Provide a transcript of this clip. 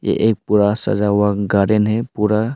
एक पूरा सजा हुआ गार्डन है पूरा--